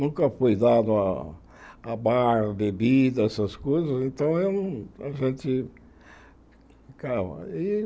Nunca fui dado a a bar, bebida, essas coisas, então eu não a gente ficava e.